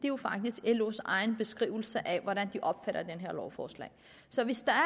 jo faktisk los egen beskrivelse af hvordan de opfatter det her lovforslag så hvis der er